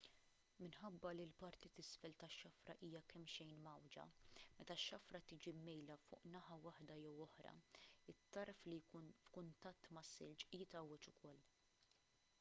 minħabba li l-parti t'isfel tax-xafra hija kemmxejn mgħawwġa meta x-xafra tiġi mmejla fuq naħa waħda jew oħra it-tarf li jkun f'kuntatt mas-silġ jitgħawweġ ukoll